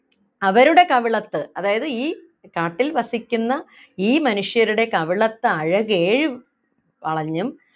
അവരുടെ കവിളത്ത് അതായത് ഈ കാട്ടിൽ വസിക്കുന്ന ഈ മനുഷ്യരുടെ കവിളത്തഴകേഴും വളഞ്ഞും